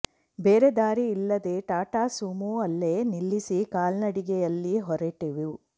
ಬೇರೆ ದಾರಿ ಇಲ್ಲದೆ ಟಾಟಾ ಸುಮೋ ಅಲ್ಲೇ ನಿಲ್ಲಿಸಿ ಕಾಲ್ನಡಿಗೆಯಲ್ಲಿ ಹೊರಟೆವು